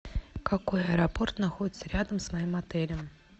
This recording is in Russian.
какой аэропорт находится рядом с моим отелем